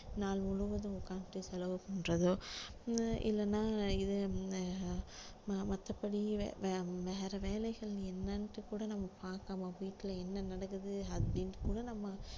நாள் முழுவதும் உட்கார்ந்துட்டு செலவு பண்றதோ அஹ் இல்லைன்னா இது மத்தபடி வே~ வேற வேலைகள் என்னன்னுட்டு கூட நம்ம பார்க்காம வீட்டுல என்ன நடக்குது அப்படின்னுட்டு கூட நம்ம